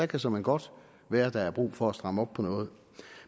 kan såmænd godt være at der er brug for at stramme op på noget